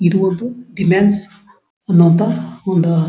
ಇದು ಒಂದು ಇಮ್ಯಾನ್ಸ್ ಅನ್ನುವಂತಹ ಒಂದು--